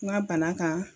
N ka bana kan